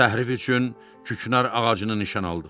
Təhrif üçün küknar ağacını nişan aldıq.